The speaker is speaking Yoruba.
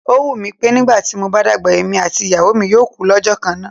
Ó wù mí pé nígbà tí mo bá dàgbà, èmi àti ìyàwó mi yóò kú lọ́jọ́ kan náà.